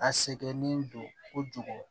A sɛgɛnnen don kojugu